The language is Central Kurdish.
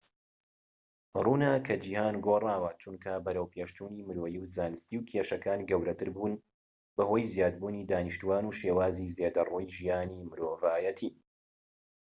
ڕوونە کە جیهان گۆڕاوە چونکە بەرەوپێشچوونی مرۆیی و زانستی و کێشەکان گەورەتر بوون بەهۆی زیادبوونی دانیشتوان و شێوازی زێدەڕەوی ژیانی مرۆڤایەتی